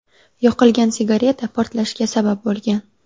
Yoqilgan sigareta portlashga sabab bo‘lgan.